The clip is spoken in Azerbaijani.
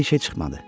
Bir şey çıxmadı.